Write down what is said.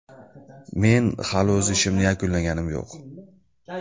Men hali o‘z ishimni yakunlaganim yo‘q.